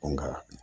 Nka